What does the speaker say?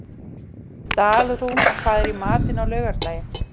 Dalrún, hvað er í matinn á laugardaginn?